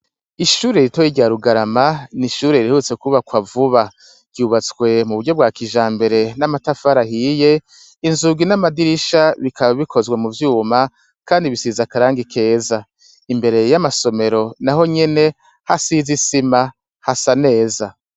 Ishuri ritoye rya Rugarama, ni ishuri rihetutse kwubakwa vuba. Ryubatswe mu buryo bwa kijambere, n'amatafara ahiye. Inzug n'amadirisha bikaba bikozwe mu vyuma kandi bisize akarangi keza. Imbere y'amasomero naho nyene hasiz isima hasa neza.